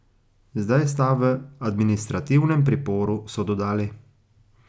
Zdaj sta v administrativnem priporu, so dodali.